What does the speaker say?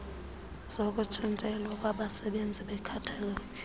zokutshintselwa kwabasebenzizi benkathalelo